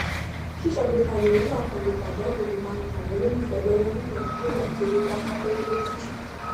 síṣàgbékalẹ owó àkànlò pàjáwùrì má n ran àwọn olólùfẹ lọwọ nírọrùn nígbà tí owó bá sáfárẹ lójíjì